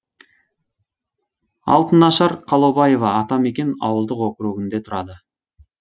алтынашар қалаубаева атамекен ауылдық округінде тұрады